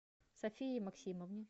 софии максимовне